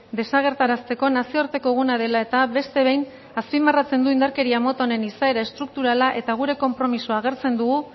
desagerrarazteko nazioarteko eguna dela eta beste behin azpimarratzen du indarkeria moto honen izaera estrukturala eta gure konpromiso agertzen dugu